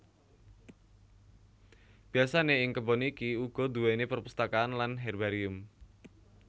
Biasane ing kebon iki ugo duweni perpustakaan lan herbarium